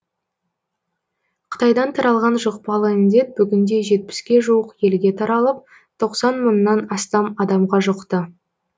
қытайдан таралған жұқпалы індет бүгінде жетпіске жуық елге таралып тоқсан мыңнан астам адамға жұқты